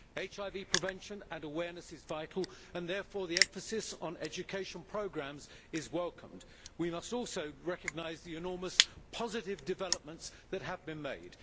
HIV prevention and awareness is vital, and therefore the emphasis on education programmes is welcomed. We must also recognise the enormous positive developments that have been made.